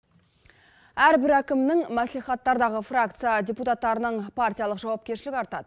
әрбір әкімнің мәслихаттардағы фракция депутаттарының партиялық жауапкершілігі артады